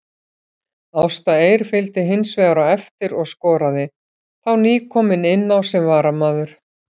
Ásta Eir fylgdi hinsvegar á eftir og skoraði, þá nýkomin inná sem varamaður.